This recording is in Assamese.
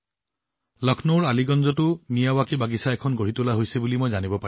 মই জানিব পাৰিছো যে লক্ষ্ণৌৰ আলিগঞ্জতো মিয়াৱকী বাগিচা এখন প্ৰস্তুত কৰা হৈছে